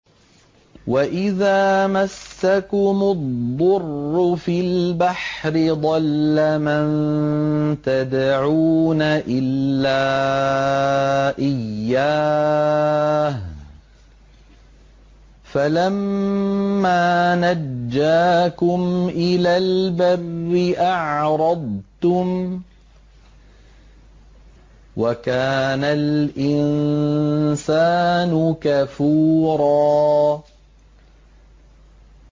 وَإِذَا مَسَّكُمُ الضُّرُّ فِي الْبَحْرِ ضَلَّ مَن تَدْعُونَ إِلَّا إِيَّاهُ ۖ فَلَمَّا نَجَّاكُمْ إِلَى الْبَرِّ أَعْرَضْتُمْ ۚ وَكَانَ الْإِنسَانُ كَفُورًا